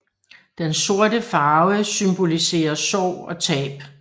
Den sorte farve symboliserer sorg og tab